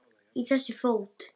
Í þessu fót